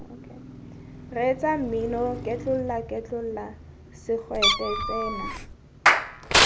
reetsa mmino ketlolaketlola segwete tsena